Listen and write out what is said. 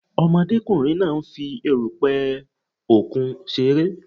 Ọmọdékùnrin náà nfi erùpè òkun ṣeré